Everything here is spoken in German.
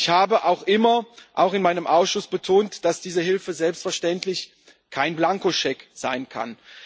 Ich habe auch immer, auch in meinem Ausschuss, betont, dass diese Hilfe selbstverständlich kein Blankoscheck sein kann.